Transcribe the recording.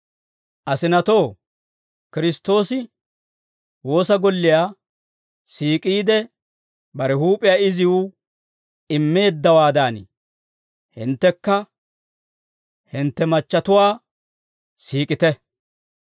Asinatoo, Kiristtoosi woosa golliyaa siik'iide, bare huup'iyaa iziw immeeddawaadan, hinttekka hintte machchatuwaa siik'ite.